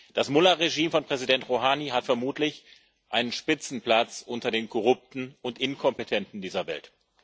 Das Mullah Regime von Präsident Rouhani hat vermutlich einen Spitzenplatz unter den korrupten und inkompetenten Regimes dieser Welt.